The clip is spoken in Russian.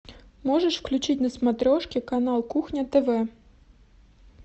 можешь включить на смотрешке канал кухня тв